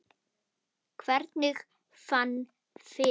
Hvernig ég fann fyrir þeim?